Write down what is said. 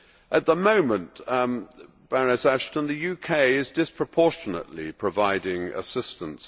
At the moment, the UK is disproportionately providing assistance.